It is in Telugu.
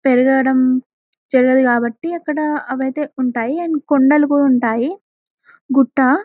పెరగడం తెలియదు కాబట్టి అక్కడ అవి అయితే ఉంటాయి అండ్ కొండలు కూడా ఉంటాయి గుట్ట --.